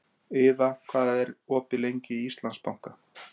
Iða, hvað er opið lengi í Íslandsbanka?